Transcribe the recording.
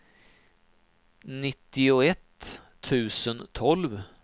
nittioett tusen tolv